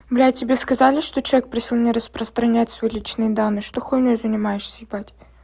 блять тебе сказали что человек просил не распространять свои личные данные что хуйнёй занимаешься ебать